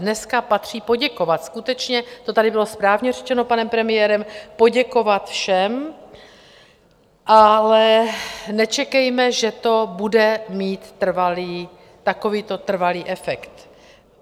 Dneska patří poděkovat skutečně, to tady bylo správně řečeno panem premiérem, poděkovat všem, ale nečekejme, že to bude mít takovýto trvalý efekt.